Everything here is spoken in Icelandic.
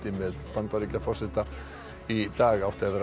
með Bandaríkjaforseta í dag átti að vera